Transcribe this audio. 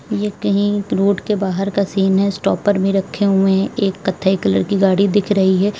ये कहीं रोड के बाहर का सीन है स्टॉपर भी रखे हुए हैं एक कत्थई कलर की गाड़ी दिख रही है।